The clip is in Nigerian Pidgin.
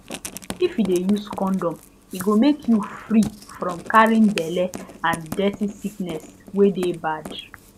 if u de use condom e go make you free from carrying belle and dirty sickness wey de bad